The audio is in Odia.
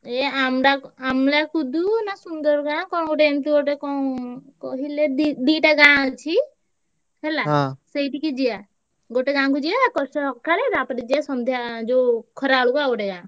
ଏଇ ଆମଡା~ ଆମଲାକୁଦ ନା ସୁନ୍ଦରଗାଁ କଣ ଗୋଟେ ଏମିତି ଗୋଟେ କଣ କହିଲେ ଦି ଦିଟା ଗାଁ ଅଛି ହେଲା। ସେଇଠିକି ଯିବା। ଗୋଟେ ଗାଁକୁ ଯିବା ପଚ ସକାଳେ ତାପରେ ଯିବା ସନ୍ଧ୍ୟା ଯୋଉ ଖରାବେଳକୁ ଆଉ ଗୋଟେ ଗାଁ।